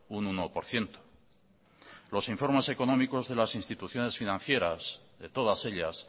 un uno por ciento los informes económicos de las instituciones financieras de todas ellas